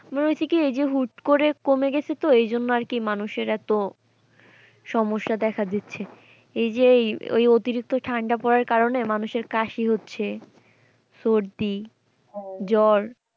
আমি বলছি কি এই যে হুট করে কমে গেছে তো এজন্য আরকি মানুষের এত সমস্যা দেখা দিচ্ছে ।এই যে ওই অতিরিক্ত ঠান্ডা পড়ার কারণে মানুষের কাশি হচ্ছে, সর্দি, জ্বর